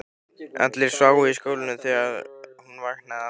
Allir sváfu í skálanum þegar hún vaknaði aftur.